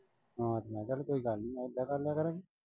ਹਾਂ ਤੇ ਮੈਂ ਕਿਹਾ ਕੋਈ ਗੱਲ ਨਈਂ ਏਦਾਂ ਕਰ ਲਿਆ ਕਰਾਂਗੇ।